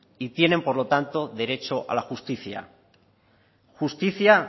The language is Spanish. y tienen por lo tanto derecho a la justicia justicia